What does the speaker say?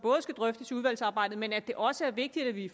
skal drøftes i udvalgsarbejdet men at det også er vigtigt at vi